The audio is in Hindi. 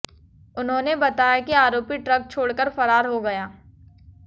उन्होंने बताया कि आरोपी ट्रक छोड़ कर फरार हो गया